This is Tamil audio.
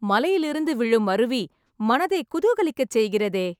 மலையிலிருந்து விழும் அருவி, மனதை குதூகலிக்கச் செய்கிறதே...